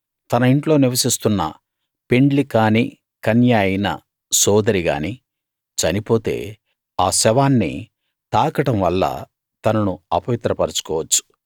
తన ఇంట్లో నివసిస్తున్న పెండ్లి కానీ కన్య అయిన సోదరి గానీ చనిపోతే ఆ శవాన్ని తాకడం వల్ల తనను అపవిత్ర పరచుకోవచ్చు